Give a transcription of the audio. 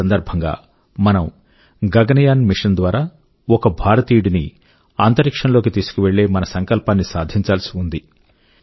ఈ సందర్భం గా మనం గగన్ యాన్ మిషన్ ద్వారా ఒక భారతీయుడిని అంతరిక్షం లోకి తీసుకువెళ్ళే మన సంకల్పాన్ని సాధించాల్సి ఉంది